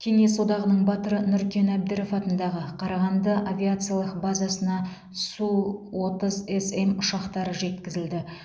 кеңес одағының батыры нұркен әбдіров атындағы қарағанды авиациялық базасына су отыз см ұшақтары жеткізілді